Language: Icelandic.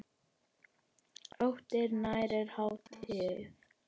Óttinn nærir hatrið.